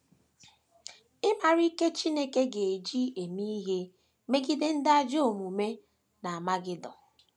Ị̀ maara ike Chineke ga - eji eme ihe megide ndị ajọ omume n’Amagedọn?